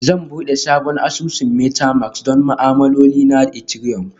Zan buɗe sabon asusun Metamask don ma'amaloli na Ethereum